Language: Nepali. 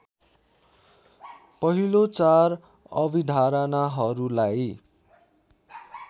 पहिलो चार अभिधारणाहरूलाई